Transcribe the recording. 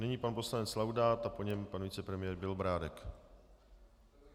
Nyní pan poslanec Laudát a po něm pan vicepremiér Bělobrádek.